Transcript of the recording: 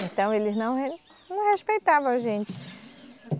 Então eles não re, não respeitavam a gente.